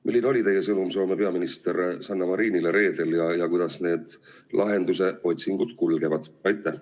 Milline oli teie sõnum Soome peaministrile Sanna Marinile reedel ja kuidas lahenduse otsingud kulgevad?